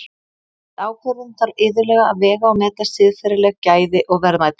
Við ákvörðun þarf iðulega að vega og meta siðferðileg gæði og verðmæti.